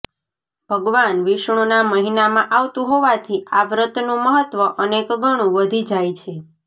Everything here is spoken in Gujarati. ભગવાન વિષ્ણુના મહિનામાં આવતું હોવાથી આ વ્રતનું મહત્વ અનેક ગણુ વધી જાય છે